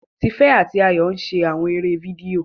Tife ati Ayo n ṣe awọn eré fídíò